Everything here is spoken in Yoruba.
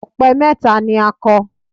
Ọ̀pẹ mẹ́ta ni ó kọ